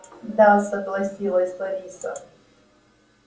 да согласилась лариса